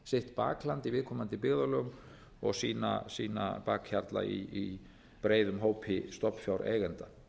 sitt bakland í viðkomandi byggðarlögum og sína bakhjarla í breiðum hópi stofnfjáreigenda